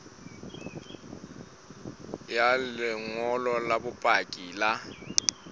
ya lengolo la bopaki la